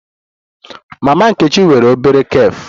Mama Nkechi nwere obere cafe